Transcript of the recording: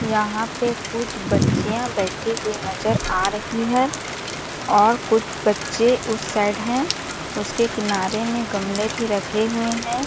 यहाँ पे कुछ बच्चियाँ बैठी हुई नज़र आ रही है और कुछ बच्चे उस साइड है उसके किनारे में गमले भी रखे हुए हैं ।